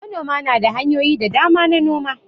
Manoma na da hanyoyi da dama na noma.